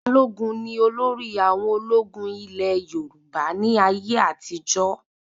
Balógun ní olórí àwọn ológun ilé Yorùbá ní ayé àtijó